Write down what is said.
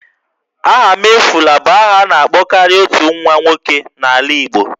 Ahamefula' bụ aha a na-akpọkarị otu nwa nwoke n'ala Igbo